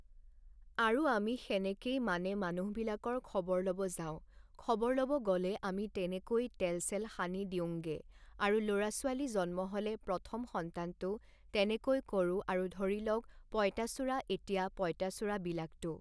আৰু আমি সেনেকেই মানে মানুহবিলাকৰ খবৰ ল'ব যাওঁ খবৰ ল'ব গ'লে আমি তেনেকৈ তেল চেল সানি দিওঁংগে আৰু ল'ৰা ছোৱালী জন্ম হ'লে প্ৰথম সন্তানটো তেনেকৈ কৰোঁ আৰু ধৰি লওক পঁইতাচোৰা এতিয়া পঁইতাচোৰাবিলাকটো